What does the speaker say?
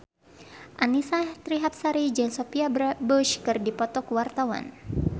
Annisa Trihapsari jeung Sophia Bush keur dipoto ku wartawan